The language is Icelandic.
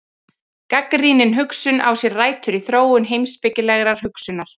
Gagnrýnin hugsun á sér rætur í þróun heimspekilegrar hugsunar.